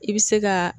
I bɛ se ka